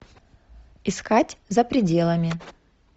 искать за пределами